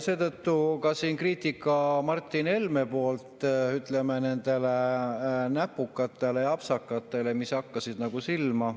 Seetõttu oli ka siin kriitika Martin Helmelt, ütleme, nende näpukate ja apsakate kohta, mis hakkasid silma.